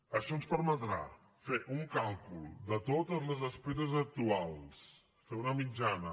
això ens permetrà fer un càlcul de totes les esperes actuals fer una mitjana